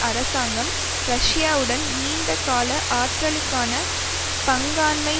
அரசாங்கம் ரஷ்யாவுடன் நீண்டகால ஆற்றலுக்கான பங்காண்மை